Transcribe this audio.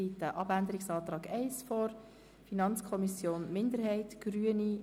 Wer den Abänderungsantrag FiKo-Minderheit/Grüne annimmt, stimmt Ja, wer diesen ablehnt, stimmt Nein.